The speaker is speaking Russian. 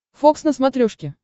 фокс на смотрешке